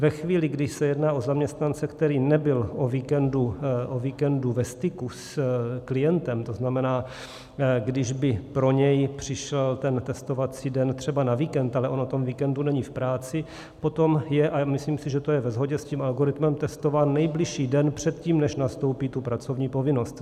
Ve chvíli, když se jedná o zaměstnance, který nebyl o víkendu ve styku s klientem, to znamená, když by pro něj přišel ten testovací den třeba na víkend, ale on o tom víkendu není v práci, potom je - a myslím si, že to je ve shodě s tím algoritmem - testován nejbližší den předtím, než nastoupí tu pracovní povinnost.